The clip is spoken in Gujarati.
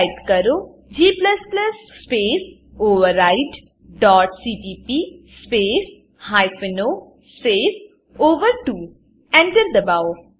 ટાઈપ કરો g space override dot CPP space hyphen O space ઓવર2 Enter દબાવો